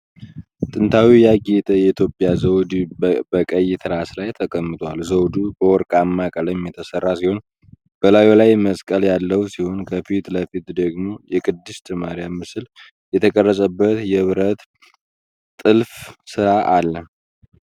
ጥንታዊና ያጌጠ የኢትዮጵያ ዘውድ በቀይ ትራስ ላይ ተቀምጧል። ዘውዱ በወርቅማ ቀለም የተሠራ ሲሆን፣ በላዩ ላይ መስቀል ያለው ሲሆን፣ ከፊት ለፊት ደግሞ የቅድስት ማርያም ምስል የተቀረጸበት የብረት ጥልፍ ሥራ አለ።